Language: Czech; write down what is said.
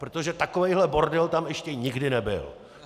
Protože takovýhle bordel tam ještě nikdy nebyl!